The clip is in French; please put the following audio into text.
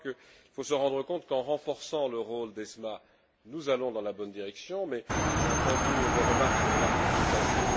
Je crois qu'il faut se rendre compte qu'en renforçant le rôle de l'ESMA, nous allons dans la bonne direction, mais j'ai entendu des remarques sur le marketing passif.